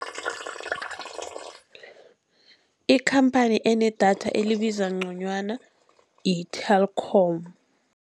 Ikhamphani enedatha elibiza nconywana yi-Telkom.